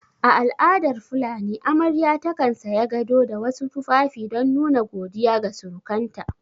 A al'adar fulani amarya takan saya gado da wasu tufafi don nuna godiya ga surukanta